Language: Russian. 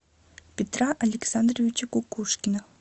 петра александровича кукушкина